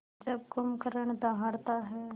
जब कुंभकर्ण दहाड़ता है